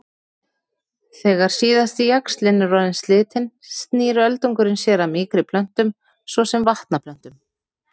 Þegar síðasti jaxlinn er orðinn slitinn snýr öldungurinn sér að mýkri plöntum svo sem vatnaplöntum.